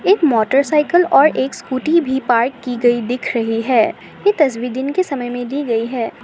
एक मोटरसाइकल और एक स्कूटी भी पार्क की गई दिख रही है ये तस्वीर दिन के समय में ली गई है।